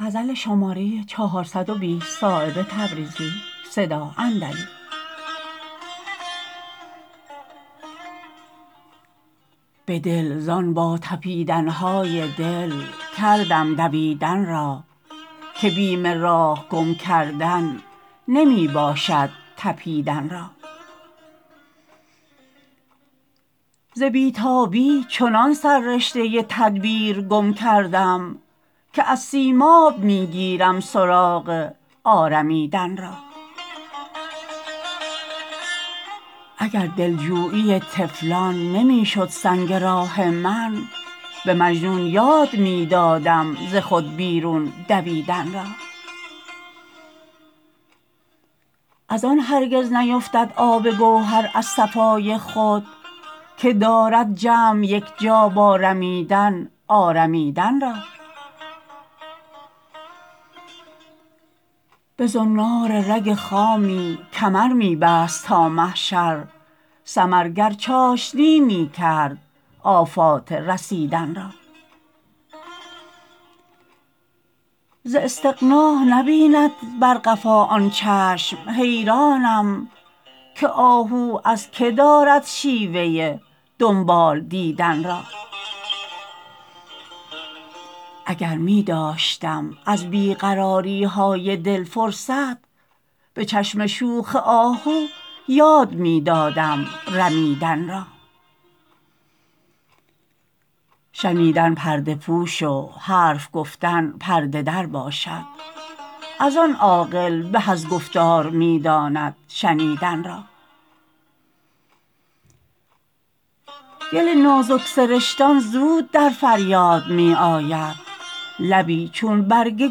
بدل زان با تپیدن های دل کردم دویدن را که بیم راه گم کردن نمی باشد تپیدن را ز بی تابی چنان سررشته تدبیر گم کردم که از سیماب می گیرم سراغ آرمیدن را اگر دلجویی طفلان نمی شد سنگ راه من به مجنون یاد می دادم ز خود بیرون دویدن را ازان هرگز نیفتد آب گوهر از صفای خود که دارد جمع یکجا با رمیدن آرمیدن را به زنار رگ خامی کمر می بست تا محشر ثمر گر چاشنی می کرد آفات رسیدن را ز استغنا نبیند بر قفا آن چشم حیرانم که آهو از که دارد شیوه دنبال دیدن را اگر می داشتم از بی قراری های دل فرصت به چشم شوخ آهو یاد می دادم رمیدن را شنیدن پرده پوش و حرف گفتن پرده در باشد ازان عاقل به از گفتار می داند شنیدن را گل نازک سرشتان زود در فریاد می آید لبی چون برگ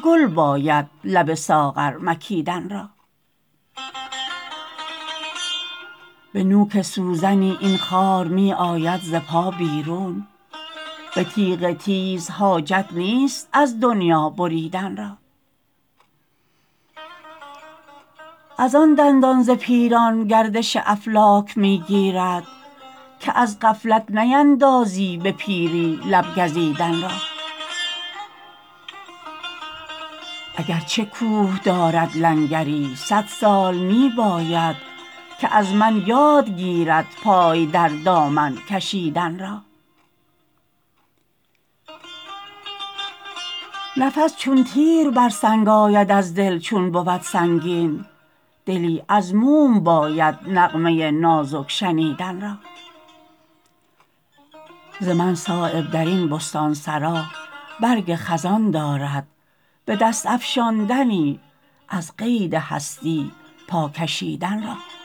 گل باید لب ساغر مکیدن را به نوک سوزنی این خار می آید ز پا بیرون به تیغ تیز حاجت نیست از دنیا بریدن را ازان دندان ز پیران گردش افلاک می گیرد که از غفلت نیندازی به پیری لب گزیدن را اگر چه کوه دارد لنگری صد سال می باید که از من یاد گیرد پای در دامن کشیدن را نفس چون تیر بر سنگ آید از دل چون بود سنگین دلی از موم باید نغمه نازک شنیدن را ز من صایب درین بستانسرا برگ خزان دارد به دست افشاندنی از قید هستی پا کشیدن را